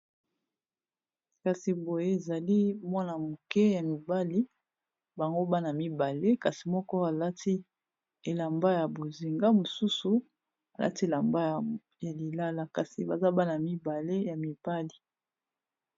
Kasi boye ezali mwana moke ya mibali bango bana mibale kasi moko alati elamba ya bozinga mosusu alati elamba ya lilala kasi baza bana mibale ya mibali.